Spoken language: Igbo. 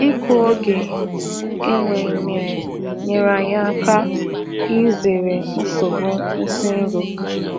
Ịkụ n’oge enweghị nmiri nyere anyị aka izere nsogbu nsi nro